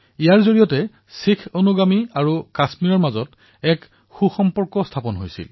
ইয়াৰ জৰিয়তে শিখ অনুগামী আৰু কাশ্মীৰৰ মাজত শক্তিশালী সম্পৰ্ক স্থাপিত হৈছিল